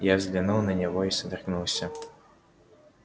я взглянул на него и содрогнулся